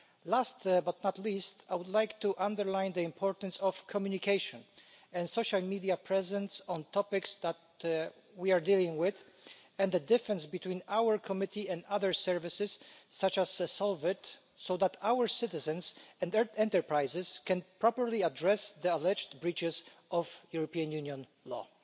Last but not least, I would like to underline the importance of communication and social media presence on topics that we are dealing with, and the difference between our committee and other services such as SOLVIT, so that our citizens and their enterprises can properly address the alleged breaches of European Union law.